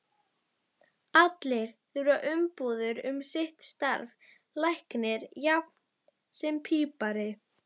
Allir þurfa umbúðir um sitt starf, læknir jafnt sem pípari.